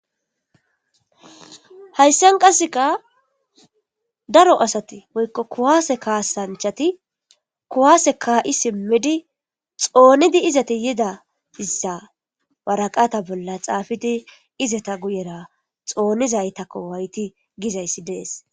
hayssan qasseka daro asati woykko kuwaase kaasanchati kuwaase kaa7i simmidi xoonidi izati yida issa waraqata bolla xaafidi izata guyera xoonizaytakko wayti gizayssi dees